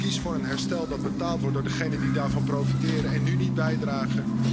Kies voor een herstel dat betaald wordt door degenen die daarvan profiteren en nu niet bijdragen.